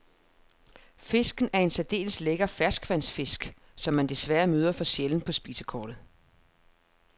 Fisken er en særdeles lækker ferskvandsfisk, som man desværre møder for sjældent på spisekortet.